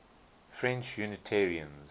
french unitarians